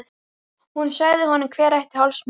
Hún sagði honum hver ætti hálsmenið.